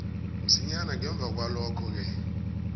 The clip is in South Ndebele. msinyana ngemva kwalokhoke